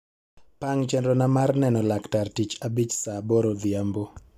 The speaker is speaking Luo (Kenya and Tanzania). pang chenrona mar neno laktar tich abich saa aboro odhiambo